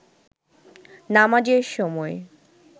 নামাজের সময়